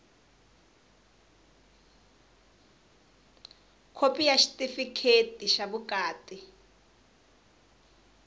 khopi ya xitifikheti xa vukati